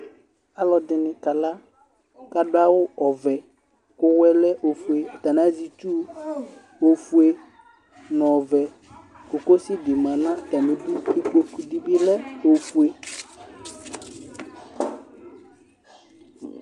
Alʋ ɛdɩnɩ kala, kʋ adʋ awʋ ovɛ, kʋ ʋwɔ yɛ lɛ ofueAtanɩ azɛ itsu ofue nʋ ɔvɛ Kokosɩ dɩ ma nʋ atamɩ ɩdʋ Kpokʋ dɩ bɩ lɛ ofue